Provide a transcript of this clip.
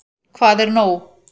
Hvað er nóg?